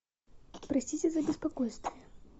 простите за беспокойство